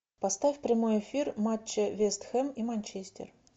поставь прямой эфир матча вест хэм и манчестер